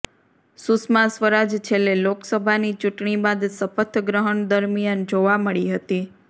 સુષ્મા સ્વરાજ છેલ્લે લોકસભાની ચૂંટણી બાદ શપથ ગ્રહણ દરમિયાન જોવા મળી હતી